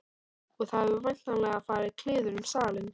Og það hefur væntanlega farið kliður um salinn.